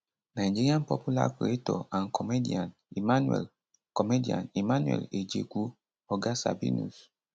nigeria popular creator and comedian emmanuel comedian emmanuel ejekwu oga sabinus